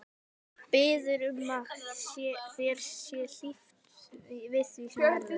Biður um að þér sé hlíft við því sem verður.